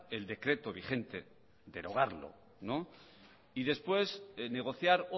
el decreto vigente y después negociar